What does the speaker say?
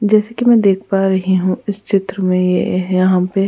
जैसे कि मैं देख पा रही हूँ इस चित्र में यहाँ पे --